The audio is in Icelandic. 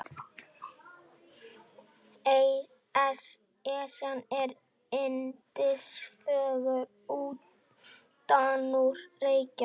Esjan er yndisfögur utanúr Reykjavík.